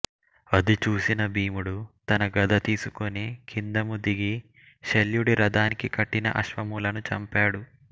అది చూసి భీముడు తన గద తీసుకుని కిందము దిగి శల్యుడి రథానికి కట్టిన అశ్వములను చంపాడు